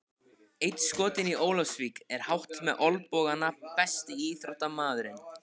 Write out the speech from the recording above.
Einn skotinn í Ólafsvík er hátt með olnbogana Besti íþróttafréttamaðurinn?